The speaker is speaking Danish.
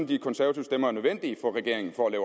de konservative stemmer er nødvendige for regeringen for at